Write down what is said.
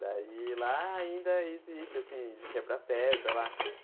Daí, lá ainda existe assim de quebrar pedra lá.